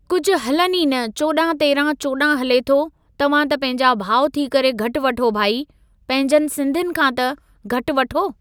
कुझु हलनि ई न चोॾहं तेरहं चोॾहं हले थो, तव्हां त पंहिंजा भाउ थी करे घटि वठो भई, पंहिंजनि सिन्धियुनि खां त घटि वठो।